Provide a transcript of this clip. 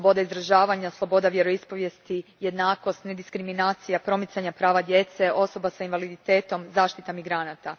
Sloboda izražavanja, sloboda vjeroispovijesti, jednakost i nediskriminacija, promicanje prava djece, osoba s invaliditetom, zaštita migranata.